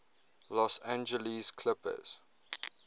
los angeles clippers